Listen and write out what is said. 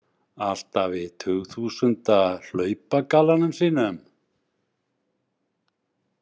Alltaf í tugþúsunda hlaupagallanum sínum.